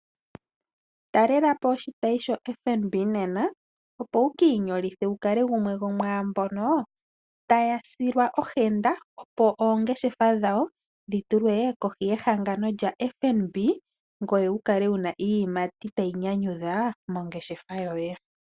Talela po oshitayi shoFNB nena opo wu ki inyolithe, wu kale gumwe gomwamboka ta ya silwa ohenda opo oongeshefa dhawo dhi tulwe kohi yehangano lyoFNB, ngoye wu kale wu na iiyimati ta yi nyanyudha mongeshefa yoye.